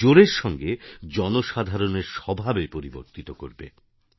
জোরের সঙ্গে জনসাধারণের স্বভাবে পরিবর্তিত করবে